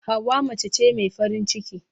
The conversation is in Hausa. Hauwa mace ce mai farin ciki.